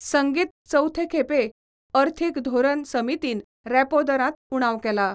संगीत चवथे खेपें अर्थिक धोरन समीतीन रॅपो दरात उणाव केला.